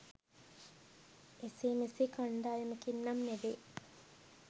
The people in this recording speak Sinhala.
එසේ මෙසේ කණ්ඩායමකින් නම් නෙමෙයි.